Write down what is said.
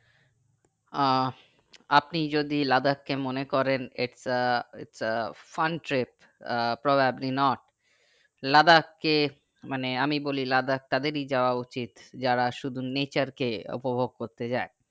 আহ আপনি যদি লাদাখ কে মনে করেন একটা একটা funtrip আহ probably not লাদাখকে মানে আমি বলি লাদাখ তাদেরই যাওয়াও উচিত যারা শুধু nature কে উপভোগ করতে যাই